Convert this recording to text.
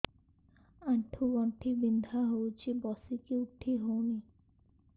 ଆଣ୍ଠୁ ଗଣ୍ଠି ବିନ୍ଧା ହଉଚି ବସିକି ଉଠି ହଉନି